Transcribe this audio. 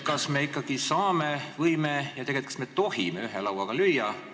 Kas me ikkagi saame, võime ja kas me tegelikult tohime ühe lauaga lüüa?